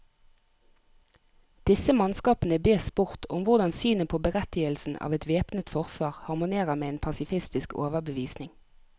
Disse mannskapene bes spurt om hvordan synet på berettigelsen av et væpnet forsvar harmonerer med en pasifistisk overbevisning.